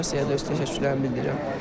Federasiyaya da öz təşəkkürlərimi bildirirəm.